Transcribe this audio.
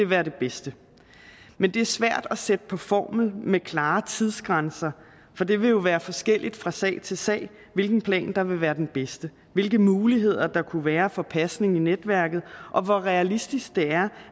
være det bedste men det er svært at sætte det på formel med klare tidsgrænser for det vil jo være forskelligt fra sag til sag hvilken plan der vil være den bedste hvilke muligheder der kunne være for pasning i netværket og hvor realistisk det er